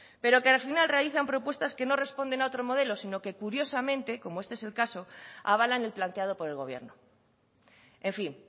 pero que al final realizan propuestas que no responden a otro modelo sino que curiosamente como este es el caso avalan el planteado por el gobierno en fin